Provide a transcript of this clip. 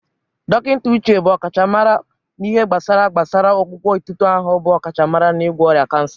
Dọkịnta Uche bụ ọkachamara n'ihe gbasara gbasara ọgwụgwọ etuto ahụ bụ ọkachamara n'ịgwọ ọrịa kansa.